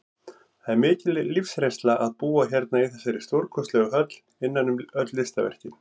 Það er mikil lífsreynsla að búa hérna í þessari stórkostlegu höll, innan um öll listaverkin.